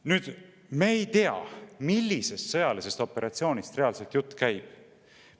Nüüd, me ei tea, millisest sõjalisest operatsioonist reaalselt jutt käib.